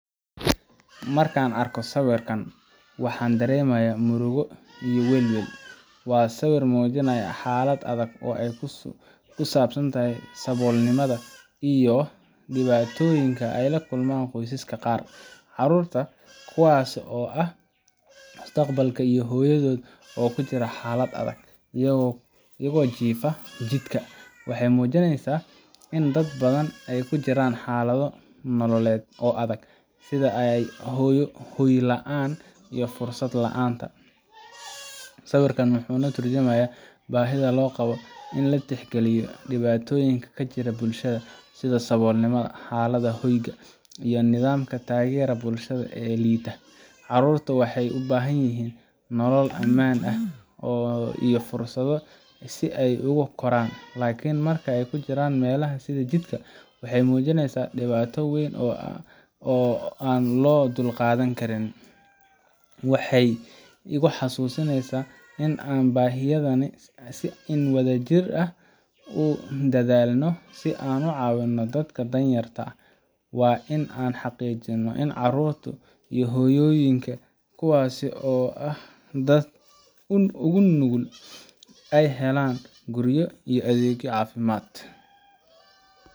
Marka aan arko sawirkan, waxaan dareemayaa murugo iyo welwel. Waa sawir muujinaya xaalad adag oo ku saabsan saboolnimada iyo dhibaatooyinka ay la kulmaan qoysaska qaar. Carruurta, kuwaas oo ah mustaqbalka, iyo hooyadood oo ku jira xaalad adag, iyagoo ku jiifa jidka, waxay muujinaysaa in dad badan ay ku jiraan xaalado nololeed oo adag, sida hoy la'aanta iyo fursad la'aanta. Sawirkan wuxuu ka tarjumayaa baahida loo qabo in la tixgeliyo dhibaatooyinka ka jira bulshada, sida saboolnimada, xaaladaha hoyga, iyo nidaamka taageera bulshada ee liita. Carruurtu waxay u baahan yihiin nolol ammaan ah iyo fursado si ay ugu koraan, laakiin marka ay ku jiraan meelaha sida jidka, waxay muujinaysaa dhibaato weyn oo aan loo dulqaadan karin. Waxay igu xasuusinaysaa in aan u baahanahay in aan wadajir u dadaalno si aan u caawino dadka danyarta ah. Waa in aan xaqiijino in carruurta iyo hooyooyinka, kuwaas oo ah dadka ugu nugul, ay helaan guryo iyo adeegyo caafimaad.